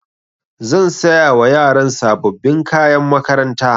Zan saya wa yaran sababbin kayan makaranta.